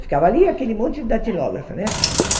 Ficava ali aquele monte de datilógrafa, né?